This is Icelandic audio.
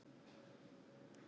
En nú?